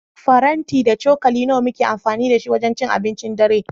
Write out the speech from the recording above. Faranti da cokali nawa muke amfani da su wajen cin abincin dare?